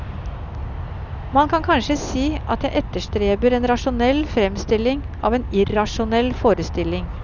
Man kan kanskje si at jeg etterstreber en rasjonell fremstilling av en irrasjonell forestilling.